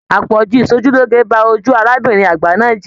Àpọ̀jù ìsòjúloge ba ojú arábìnrin àgbà náà jẹ.